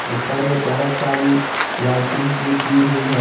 ऊपर में बहुत सारी लाइटिंग्स भी की हुई है।